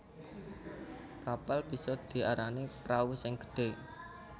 Kapal bisa diarani prau sing gedhé